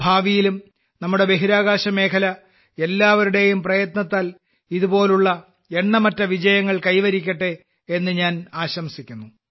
ഭാവിയിലും നമ്മുടെ ബഹിരാകാശമേഖല എല്ലാവരുടെയും പ്രയത്നത്താൽ ഇതുപോലുള്ള എണ്ണമറ്റ വിജയങ്ങൾ കൈവരിക്കട്ടെ എന്ന് ഞാൻ ആശംസിക്കുന്നു